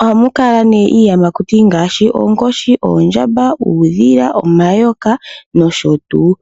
Ohamu kala nee iiyamakuti ngaashi oonkoshi, oondjamba, uudhila, omayoka nosho tuu.